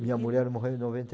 Minha mulher morreu em noventa e